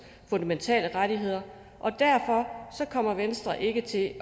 fundamentale rettigheder og derfor kommer venstre ikke til at